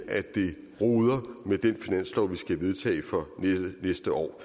at det roder med den finanslov vi skal vedtage for næste år